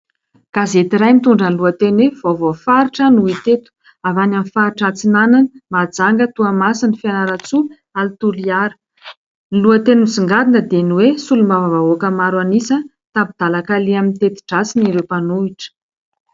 gazety iray mitondra ny lohateny hoe:" vaovao faritra" no hita eto ;avy any amin'ny faritra Antsiranana, Mahajanga, Toamasina, Fianarantsoa ary Toliara ;ny lohateny misongadina dia ny hoe:" solombavam-bahoaka maro anisa tampin-dalan-kaleha amin'ny teti-dratsiny ireo mpanohitra"